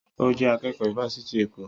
Ó jẹ́ akẹ́kọ̀ọ́ ifásitì Èkó